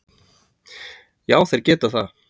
Já þeir geta það.